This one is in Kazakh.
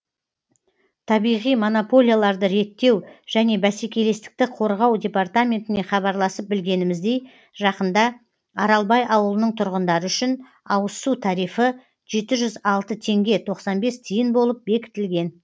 табиғи монополияларды реттеу және бәсекелестікті қорғау департаментіне хабарласып білгеніміздей жақында аралбай ауылының тұрғындары үшін ауызсу тарифі жеті жүз алты теңге тоқсан бес тиын болып бекітілген